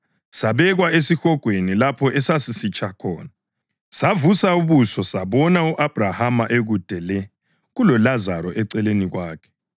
Esihogweni lapho esasisitsha khona; savusa ubuso sabona u-Abhrahama ekude le, kuloLazaro eceleni kwakhe.